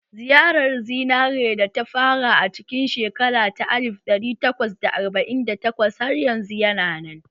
Ziyarar zinare da ta fara a cikin shekara ta alif ɗari takwas da arba'in da takwas har yanzu yana nan